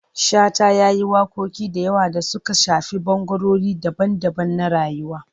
Shata ya yi waƙoƙi da yawa da suka shafi ɓangarori daban-daban na rayuwa.